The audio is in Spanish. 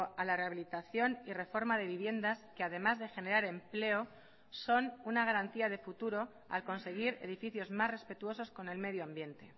a la rehabilitación y reforma de viviendas que además de generar empleo son una garantía de futuro al conseguir edificios más respetuosos con el medio ambiente